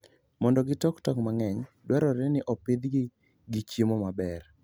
Mondo gitok tong' mang'eny, dwarore ni opidhgi gi chiemo maber.